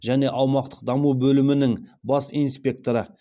және аумақтық даму бөлімінің бас инспекторы